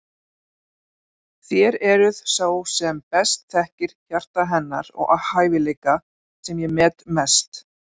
Þér eruð sá sem best þekkir hjarta hennar og hæfileika sem ég met mest.